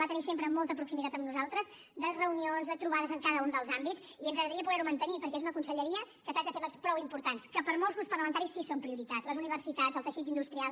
va tenir sempre molta proximitat amb nosaltres de reunions de trobades en cada un dels àmbits i ens agradaria poder ho mantenir perquè és una conselleria que tracta temes prou importants que per a molts grups parlamentaris sí que són prioritat les universitats el teixit industrial